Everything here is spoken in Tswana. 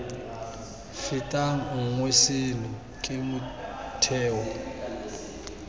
fetang nngwe seno ke motheo